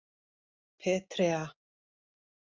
Petrea